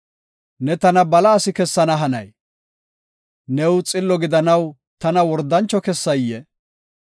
Ne tana bala asi kessana hanayee? New xillo gidanaw tana wordancho kessayee?